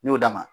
N y'o d'a ma